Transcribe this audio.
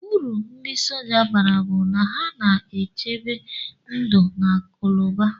Uru ndi sọja bara bu na ha na echebe ndu na akuluba.